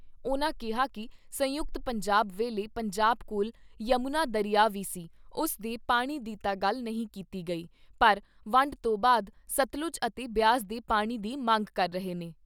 ਉਨ੍ਹਾਂ ਕਿਹਾ ਕਿ ਸੰਯੁਕਤ ਪੰਜਾਬ ਵੇਲੇ ਪੰਜਾਬ ਕੋਲ ਯਮੁਨਾ ਦਰਿਆ ਵੀ ਸੀ, ਉਸ ਦੇ ਪਾਣੀ ਦੀ ਤਾਂ ਗੱਲ ਨਹੀਂ ਕੀਤੀ ਗਈ, ਪਰ ਵੰਡ ਤੋਂ ਬਾਅਦ ਸਤਲੁਜ ਅਤੇ ਬਿਆਸ ਦੇ ਪਾਣੀ ਦੀ ਮੰਗ ਕਰ ਰਹੇ ਨੇ।